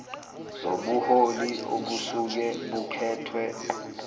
zobuholi obusuke bukhethwe